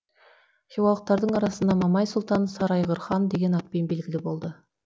хиуалықтардың арасында мамай сұлтан сарыайғыр хан деген атпен белгілі болды